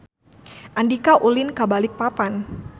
Andika ulin ka Balikpapan